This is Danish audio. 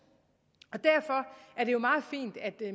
det er jo meget fint at